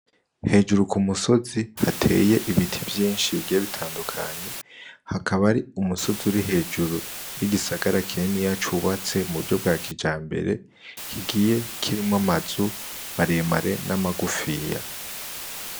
Hejuru ku musozi hateye ibiti vyinshi bigiye bitandukanye hakaba ari umusozi uri hejuru y'igisagara kineni yacoubatse mu buryo bwa kija mbere kigiye kirimwo amazu maremare n'amagufiya.